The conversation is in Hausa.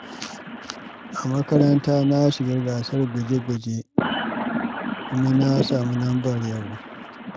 A makaranta, na shiga gasar guje-guje kuma na samu lambar yabo.